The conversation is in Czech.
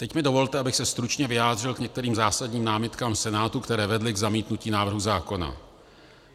Teď mi dovolte, abych se stručně vyjádřil k některým zásadním námitkám Senátu, které vedly k zamítnutí návrhu zákona.